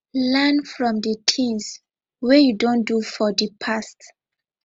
learn from di things wey you don do for di past